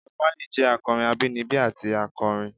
Bob Marley jẹ akọrin abinibi ati akọrin.